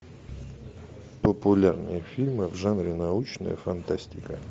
популярные фильмы в жанре научная фантастика